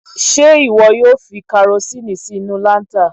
Ṣé ìwọ yóò fi karosínì sí inú láńtà?